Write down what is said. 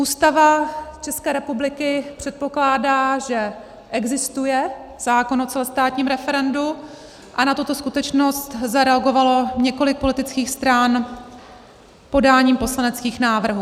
Ústava České republiky předpokládá, že existuje zákon o celostátním referendu, a na tuto skutečnost zareagovalo několik politických stran podáním poslaneckých návrhů.